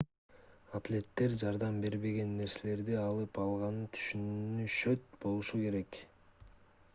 атлеттер жардам бербеген нерселерди алып алганын түшүнөт болушу керек